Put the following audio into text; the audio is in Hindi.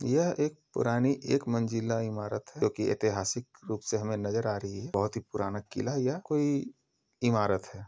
यह एक पुरानी एक मंजिला इमारत है जो की ऐतिहासिक रूप से हमें नजर आ रही है बहुत ही पुराना किला या कोई इमारत है।